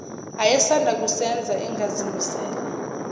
ayesanda kusenza engazimisele